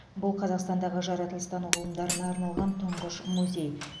бұл қазақстандағы жаратылыстану ғылымдарына арналған тұңғыш музей